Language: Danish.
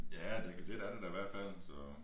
Ja det lidt er det da i hvert fald så